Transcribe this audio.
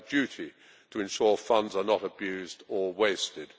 We have a duty to ensure funds are not abused or wasted.